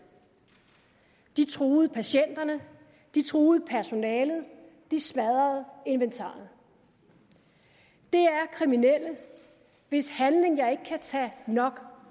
de truede patienterne de truede personalet de smadrede inventaret det er kriminelle hvis handling jeg ikke kan tage nok